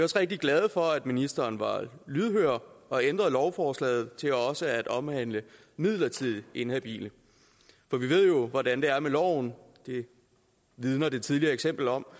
rigtig glade for at ministeren var lydhør og ændrede lovforslaget til også at omhandle midlertidigt inhabile for vi ved jo hvordan det er med loven det vidner det tidligere eksempel om